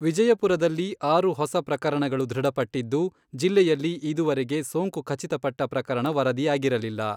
ವಿಜಯಪುರದಲ್ಲಿ ಆರು ಹೊಸ ಪ್ರಕರಣಗಳು ದೃಢಪಟ್ಟಿದ್ದು, ಜಿಲ್ಲೆಯಲ್ಲಿ ಇದುವರೆಗೆ ಸೋಂಕು ಖಚಿತಪಟ್ಟ ಪ್ರಕರಣ ವರದಿಯಾಗಿರಲಿಲ್ಲ.